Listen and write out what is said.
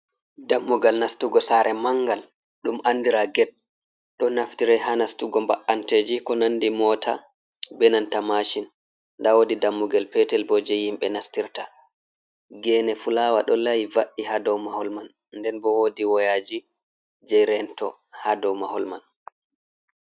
Dammugal nastugo sare mangal, ɗum andira get, ɗo naftire ha nastugo ba’anteji, ko nandi mota, be nanta mashin. Da wodi dammugal petel bo, je hmbe nastirta gene fulawa do layi va’i ha dow mahol man, nden bo wodi woyaji je rento ha dow mahol man.